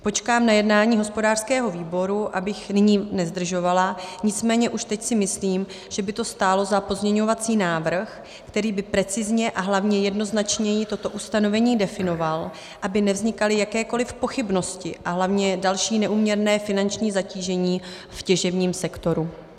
Počkám na jednání hospodářského výboru, abych nyní nezdržovala, nicméně už teď si myslím, že by to stálo za pozměňovací návrh, který by precizně a hlavně jednoznačněji toto ustanovení definoval, aby nevznikaly jakékoli pochybnosti a hlavně další neúměrné finanční zatížení v těžebním sektoru.